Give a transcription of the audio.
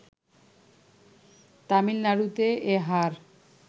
তামিলনাড়ুতে এ হার